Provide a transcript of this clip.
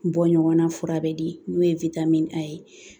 Bɔ ɲɔgɔnna fura be di n'o ye a ye